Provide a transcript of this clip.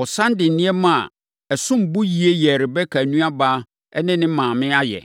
Ɔsane de nneɛma a ɛsom bo yie yɛɛ Rebeka nuabarima ne ne maame ayɛ.